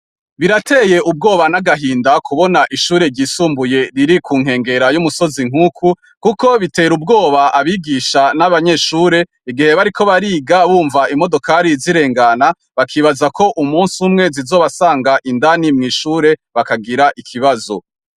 Birateye ubwoba n'agahinda kubona ishure ryisumbuye riri ku nkengera y'umusozi nk'uku, kuko bitera ubwoba abigisha n'abanyeshure igihe bari ko bariga bumva imodokari zirengana bakibaza ko umusi w'umwezi zobasanga indani mw'ishure bakagira ikibazo.